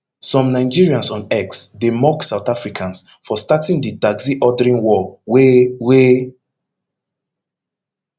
some nigerians on x dey mock south africans for starting di taxi ordering war wey wey